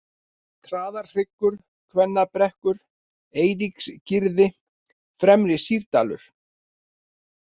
Traðarhryggur, Kvennabrekkur, Eiríksgirði, Fremri-Sýrdalur